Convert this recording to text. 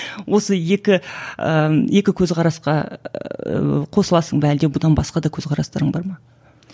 осы екі ііі екі көзқарасқа ыыы қосыласың ба әлде бұдан басқа да көзқарастарың бар ма